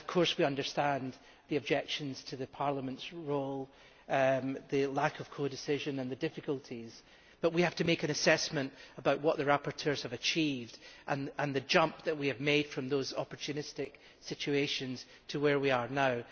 We understand the objections in respect of Parliament's role, the lack of codecision and the difficulties, but we have to make an assessment about what the rapporteurs have achieved and the jump that we have made from those opportunistic situations to where we are now.